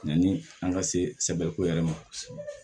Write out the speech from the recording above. Yanni an ka sebɛriko yɛrɛ ma